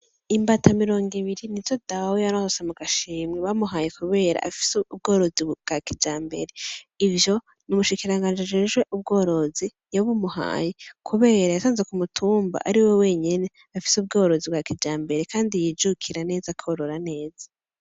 Imbata mirongo ibiri nizo dawe yaronse mu gashimwe bamuhaye kubera afise ubworozi bwa kijambere, ivyo n'umushikirangaji ajejwe ubworozi yabimuhaye, kubera yasanze ku mutumba ariwe wenyene afise ubworozi bwa kijambere kandi yijukira neza korora neza.